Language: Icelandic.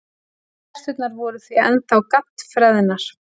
Terturnar voru því ennþá GADD-FREÐNAR!